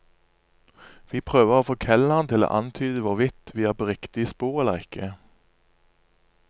Vi prøver å få kelneren til å antyde hvorvidt vi er på riktig spor eller ikke.